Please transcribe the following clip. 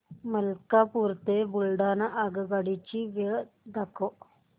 मलकापूर ते बुलढाणा आगगाडी ची वेळ दाखव